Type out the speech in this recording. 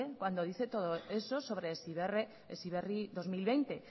cuando dice todo eso sobre heziberri dos mil veinte